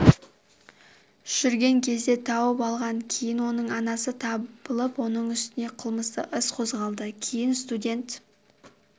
жүрген кезде тауып алған кейін оның анасы табылып оның үстінен қылмыстық іс қозғалды кейін сутеднт